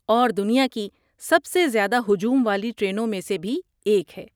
اور دنیا کی سب سے زیادہ ہجوم والی ٹرینوں میں سے بھی ایک ہے۔